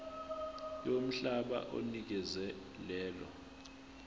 yomhlaba onikezwe lelo